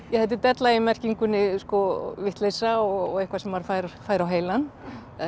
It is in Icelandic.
ja þetta er della í merkingunni sko vitleysa og eitthvað sem maður fær fær á heilann